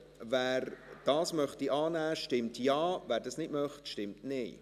Wer das annehmen möchte, stimmt Ja, wer das nicht möchte, stimmt Nein.